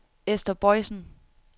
Esther Boisen